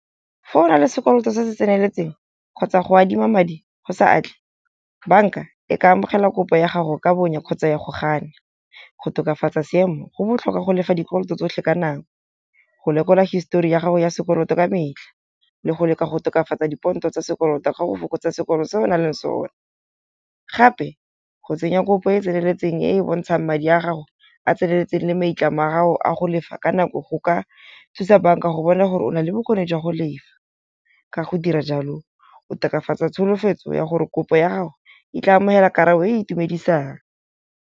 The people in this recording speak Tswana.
Fa o na le sekoloto se se tseneletseng kgotsa go adima madi go sa atle, banka e ka amogela kopo ya gago ka bonya kgotsa ya go gana. Go tokafatsa seemo go botlhokwa go lefa dikoloto tsotlhe ka nang, go lekola histori ya gago ya sekoloto ka metlha, le go leka go tokafatsa dipontsho tsa sekoloto ga o fokotsa sekolo seo o nang le sone. Gape go tsenya kopo e e tseneletseng e e bontshang madi a gago a tseneletseng le meitlamo a ga o a go lefa ka nako. Go ka thusa banka go bona gore o na le bokgoni jwa go lefa. Ka go dira jalo o tokafatsa tsholofetso ya gore kopo ya gago e tla amogela karabo e itumedisang.